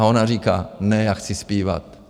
A ona říká: Ne, já chci zpívat.